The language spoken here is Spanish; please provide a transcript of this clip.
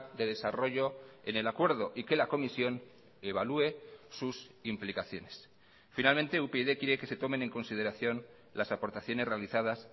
de desarrollo en el acuerdo y que la comisión evalúe sus implicaciones finalmente upyd quiere que se tomen en consideración las aportaciones realizadas